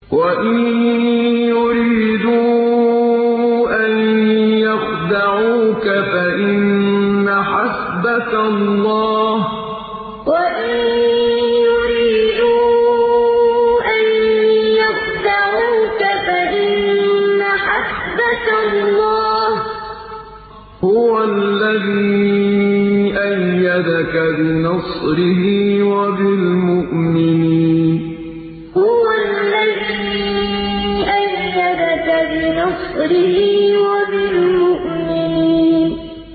وَإِن يُرِيدُوا أَن يَخْدَعُوكَ فَإِنَّ حَسْبَكَ اللَّهُ ۚ هُوَ الَّذِي أَيَّدَكَ بِنَصْرِهِ وَبِالْمُؤْمِنِينَ وَإِن يُرِيدُوا أَن يَخْدَعُوكَ فَإِنَّ حَسْبَكَ اللَّهُ ۚ هُوَ الَّذِي أَيَّدَكَ بِنَصْرِهِ وَبِالْمُؤْمِنِينَ